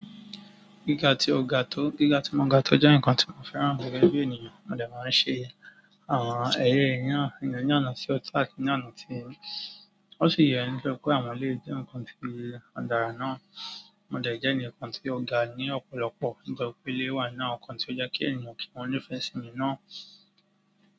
Gíga tí ó ga tó, gíga tí ó mọ ga tó jẹ́ nǹkan tí mo fẹ́ràn gbogbo ẹni bí ènìyàn. Wọn dẹ̀ máa ń ṣe àwọn ẹyẹ ìyàrá ènìyàn ní àná sí ọ̀tá àti ní àná sí yẹn. Ó sì yẹ kí wọ́n lè jẹ́ nǹkan tí ọ̀dàrà náà. Mo dẹ̀ jẹ́ ènìyàn kan ti ó ga ní ọ̀pọ̀lọpọ̀. Nígbà tí ilé wà náà, nǹkan tí ó jẹ́ kí ènìyàn kí wọ́n ní ìfẹ́ sí i náà.